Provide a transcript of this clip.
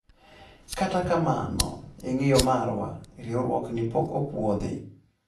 kata kamano,e ng'eyo marwa, riuruokni pok ophuodhi